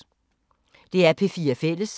DR P4 Fælles